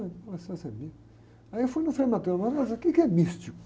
ser místico. Aí eu fui no frei, o quê que é místico?